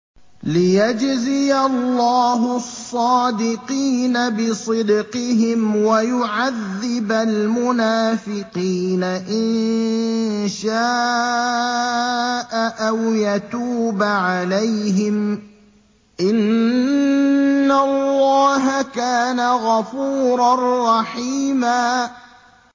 لِّيَجْزِيَ اللَّهُ الصَّادِقِينَ بِصِدْقِهِمْ وَيُعَذِّبَ الْمُنَافِقِينَ إِن شَاءَ أَوْ يَتُوبَ عَلَيْهِمْ ۚ إِنَّ اللَّهَ كَانَ غَفُورًا رَّحِيمًا